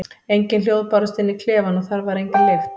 Engin hljóð bárust inn í klefann og þar var engin lykt.